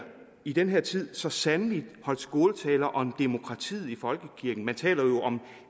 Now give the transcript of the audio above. i den her tid så sandelig holdt skåltaler om demokratiet i folkekirken man taler jo om